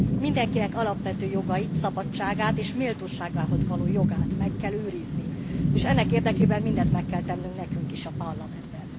Mindenkinek alapvető jogait, szabadságát és méltóságához való jogát meg kell őrizni, és ennek érdekében mindent meg kell tennünk nekünk is a Parlamentben.